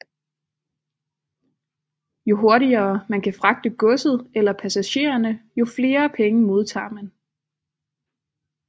Jo hurtigere man kan fragte godset eller passagererne jo flere penge modtager man